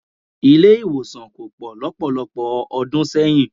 Ilé-ìwòsàn kò pọ̀ lọ́pọ̀lọpọ̀ ọdún sẹ́yìn.